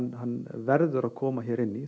verður að koma hérna inn í